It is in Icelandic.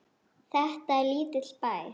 Þetta er lítill bær.